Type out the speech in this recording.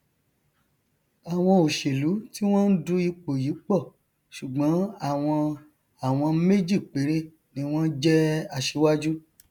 nítorí a wòó pé o yẹ um kí ilé ọhún wó lulẹ wó lulẹ sí ẹgbẹ um tó léfò